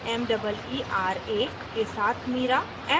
* meera के साथ meera